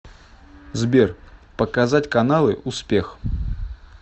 сбер показать каналы успех